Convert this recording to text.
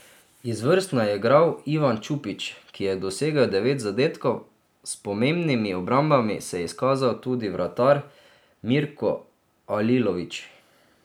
Izvrstno je igral Ivan Čupić, ki je dosegel devet zadetkov, s pomembnimi obrambami se je izkazal tudi vratar Mirko Alilović.